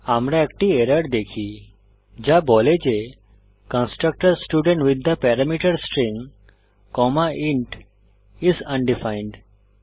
আমরা একটি এরর দেখি যা বলে যে constructor student with the parameter string comma int is undefined